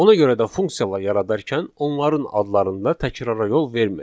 Ona görə də funksiyalar yaradarkən onların adlarında təkrara yol verməyin,